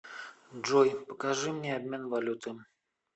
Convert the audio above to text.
джой покажи мне обмен валюты